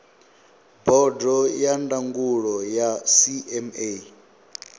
bodo ya ndangulo ya cma